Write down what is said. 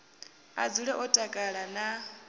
a dzule o takala na